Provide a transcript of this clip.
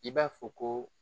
I b'a fɔ ko